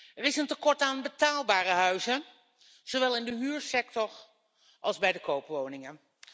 Er is een tekort aan betaalbare huizen, zowel in de huursector als bij de koopwoningen.